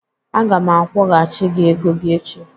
Aga m akwọgachi gị ego gị echi.